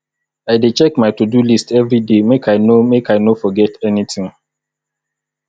i dey check my todo list everyday make i no make i no forget anytin